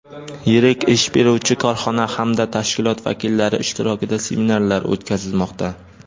yirik ish beruvchi korxona hamda tashkilot vakillari ishtirokida seminarlar o‘tkazilmoqda.